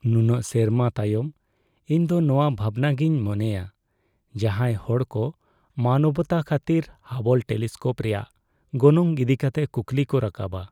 ᱱᱩᱱᱟᱹᱜ ᱥᱮᱨᱢᱟ ᱛᱟᱭᱚᱢ , ᱤᱧ ᱫᱚ ᱱᱚᱶᱟ ᱵᱷᱟᱵᱱᱟ ᱜᱤᱧ ᱢᱚᱱᱮᱭᱟ ᱡᱟᱦᱟᱸᱭ ᱦᱚᱲ ᱠᱚ ᱢᱟᱱᱚᱵᱚᱛᱟ ᱠᱷᱟᱹᱛᱤᱨ ᱦᱟᱵᱚᱞ ᱴᱮᱞᱤᱥᱠᱳᱯ ᱨᱮᱭᱟᱜ ᱜᱚᱱᱚᱝ ᱤᱫᱤ ᱠᱟᱛᱮ ᱠᱩᱠᱞᱤ ᱠᱚ ᱨᱟᱠᱟᱵᱟ ᱾